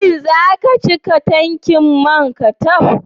Shin zaka cika tanki manka taf?